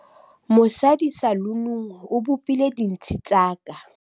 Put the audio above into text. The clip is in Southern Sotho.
mosadi salunung o bopile dintshi tsa ka